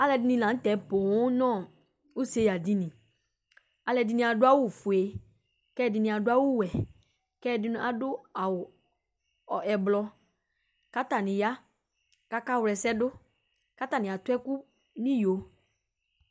Alʋɛdɩnɩ la nʋ tɛ poo nʋ useɣadini Alʋɛdɩnɩ adʋ awʋfue kʋ ɛdɩnɩ adʋ awʋwɛ kʋ ɛdɩnɩ adʋ awʋ ɛblɔ kʋ atanɩ ya kʋ akawla ɛsɛ dʋ kʋ atanɩ atʋ ɛkʋ nʋ iyo